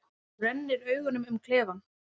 Þú rennir augunum um klefann.